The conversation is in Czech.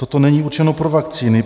Toto není určeno pro vakcíny.